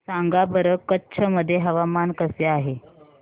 सांगा बरं कच्छ मध्ये हवामान कसे आहे